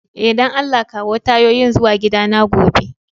Eh, dan Allah kawo tayoyin zuwa gida na gobe.